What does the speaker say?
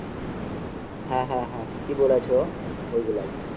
হ্যাঁ হ্যাঁ ঠিকই বলছো ওই গুলাই